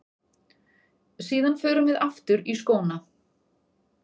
Síðan förum við aftur í skóna.